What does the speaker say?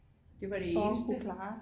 Det var det eneste